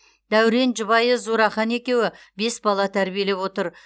дәурен жұбайы зурахан екеуі бес бала тәрбиелеп отыр